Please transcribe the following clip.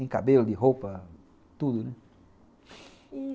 Em cabelo, de roupa, tudo, né?